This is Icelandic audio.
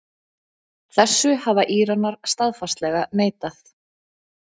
Í seinna lagi þurfa meiriháttar ákvarðanir sem varða almannahagsmuni að vera teknar með lýðræðislegum hætti.